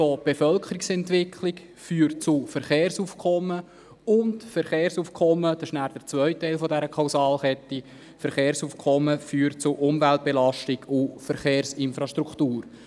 Die Bevölkerungsentwicklung führt zu Verkehrsaufkommen und das Verkehrsaufkommen – dies der zweite Teil dieser Kausalkette – führt zu Umweltbelastungen und zu Verkehrsinfrastrukturen.